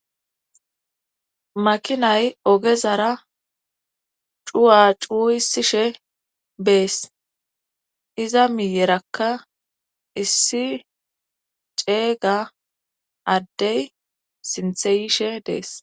Makinay ogezara cuwa cuu isishe bees iza miyerakka issi ceeyga addey sintheyishe dees.